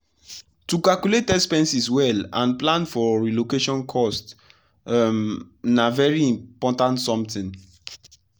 to calculate expenses well and plan for relocation cost um na very important something.